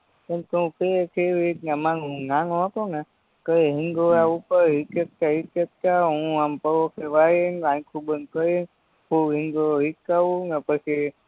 હું નાનો હતો ને તયે હિન્ડોરા ઉપર હિચક્કતા હિચક્કતા હું આમ થોડોક હું આમ પલોઠી વારીન આયખુ બન કરીન ફૂલ હિંડોરો હિચ્કાવું ને પછી